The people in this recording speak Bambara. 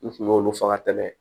N kun y'olu faga tɛmɛ